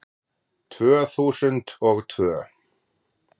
Tvö þúsund og tvö